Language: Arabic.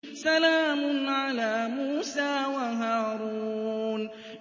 سَلَامٌ عَلَىٰ مُوسَىٰ وَهَارُونَ